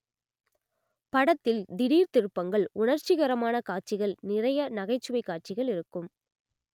படத்தில் திடீர் திருப்பங்கள் உணர்ச்சிகரமான காட்சிகள் நிறைய நகைச்சுவை காட்சிகள் இருக்கும்